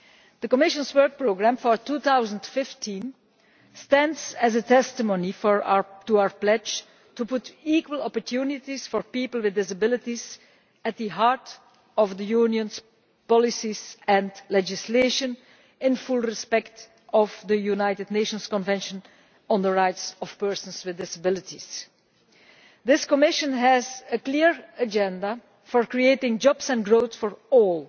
The Commission's work programme for 2015 stands as testimony to our pledge to put equal opportunities for people with disabilities at the heart of the Union's policies and legislation, in full observance of the United Nations Convention on the Rights of Persons with Disabilities. This Commission has a clear agenda for creating jobs and growth for all,